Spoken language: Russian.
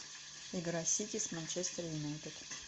игра сити с манчестер юнайтед